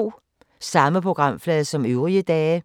Samme programflade som øvrige dage